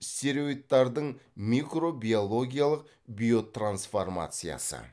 стероидтардың микробиологиялық биотрансформациясы